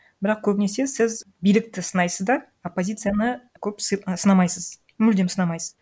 бірақ көбінесе сіз билікті сынайсыз да оппозицияны көп сынамайсыз мүлдем сынамайсыз